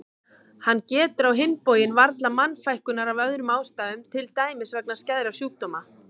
Hann getur á hinn bóginn varla mannfækkunar af öðrum ástæðum til dæmis vegna skæðra sjúkdóma.